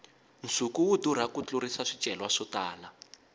nsuku wu durha ku tlurisa swicelwa swo tala